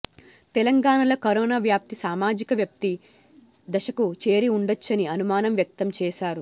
తెలంగాణలో కరోనా వ్యాప్తి సామాజిక వ్యాప్తి దశకు చేరి ఉండొచ్చని అనుమానం వ్యక్తం చేశారు